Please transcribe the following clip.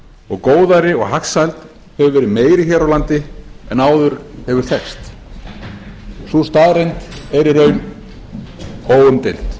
og góðæri og hagsæld hefur verið meiri hér á landi en áður hefur þekkst sú staðreynd er í raun óumdeild